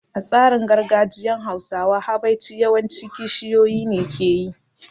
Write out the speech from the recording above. A tsarin gargajiyan Hausawa, habaici yawan ci kishiyoyi ne ke yi